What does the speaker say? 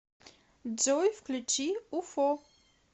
джой включи уфо